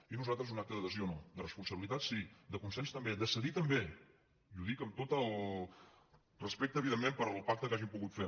i nosaltres un acte d’adhesió no de res·ponsabilitat sí de consens també de cedir també i ho dic amb tot el respecte evidentment pel pac·te que hàgim pogut fer